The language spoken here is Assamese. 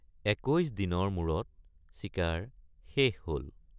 একৈশ দিনৰ মূৰত চিকাৰ শেষ হল।